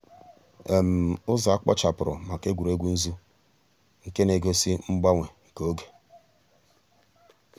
ụ́zọ̀ à kpochàpùrù mǎká ègwè́régwụ̀ nzù nke nà-egósì mgbànwè nke ògè.